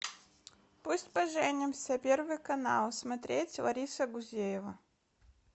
пусть поженимся первый канал смотреть лариса гузеева